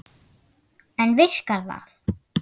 En virkar það?